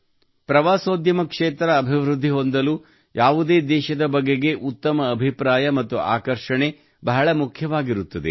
ಪ್ರವಾಸೋದ್ಯಮ ಕ್ಷೇತ್ರ ಅಭಿವೃದ್ದಿ ಹೊಂದಲು ಯಾವುದೇ ದೇಶದ ಬಗೆಗೆ ಉತ್ತಮ ಅಭಿಪ್ರಾಯ ಮತ್ತು ಆಕರ್ಷಣೆ ಬಹಳ ಮುಖ್ಯವಾಗಿರುತ್ತದೆ